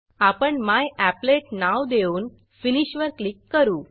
आपण मॅपलेट नाव देऊन फिनिश फिनिश वर क्लिक करू